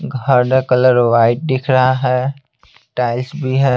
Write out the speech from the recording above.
घर का colour white दिख रहा है टाइल्स भी है।